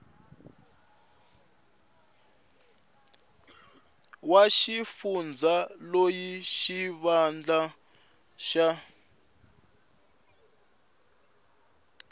wa xifundza loyi xivandla xa